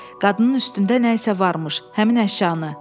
“Qadının üstündə nəsə varmış, həmin əşyanı.”